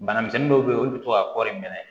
Banamisɛnnin dɔw be yen olu bi to ka kɔri in minɛ